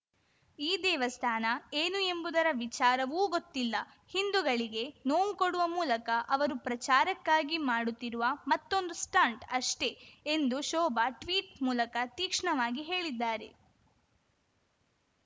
ಈ ದೇವಸ್ಥಾನ ಏನು ಎಂಬುದರ ವಿಚಾರವೂ ಗೊತ್ತಿಲ್ಲ ಹಿಂದೂಗಳಿಗೆ ನೋವು ಕೊಡುವ ಮೂಲಕ ಅವರು ಪ್ರಚಾರಕ್ಕಾಗಿ ಮಾಡುತ್ತಿರುವ ಮತ್ತೊಂದು ಸ್ಟಂಟ್‌ ಅಷ್ಟೇ ಎಂದು ಶೋಭಾ ಟ್ವೀಟ್‌ ಮೂಲಕ ತೀಕ್ಷ್ಣವಾಗಿ ಹೇಳಿದ್ದಾರೆ